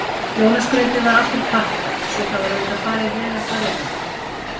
Jólaskrautið var allt úr pappa, svo það var auðvitað farið veg allrar veraldar.